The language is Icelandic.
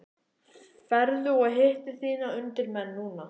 Ferðu og hittir þína undirmenn núna?